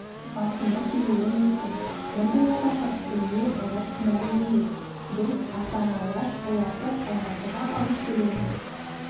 басына келуі мүмкін мұндай апатқа түсуіне олар кінәлі емес біз ата-аналар оларды алматыға алып келуін